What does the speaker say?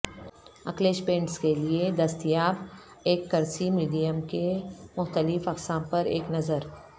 acrylics paints کے لئے دستیاب ایککریسی میڈیم کے مختلف اقسام پر ایک نظر